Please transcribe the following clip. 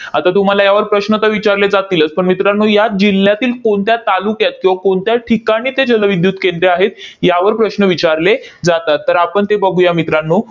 आता तुम्हाला यावर प्रश्न तर विचारले जातीलच. पण मित्रांनो, या जिल्ह्यातील कोणत्या तालुक्यात किंवा कोणत्या ठिकाणी ते जलविद्युत केंद्रे आहेत, यावर प्रश्न विचारले जातात. तर आपण ते बघूया मित्रांनो,